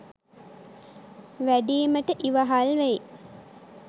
වැඩීමට ඉවහල් වෙයි.